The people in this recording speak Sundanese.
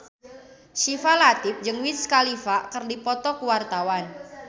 Syifa Latief jeung Wiz Khalifa keur dipoto ku wartawan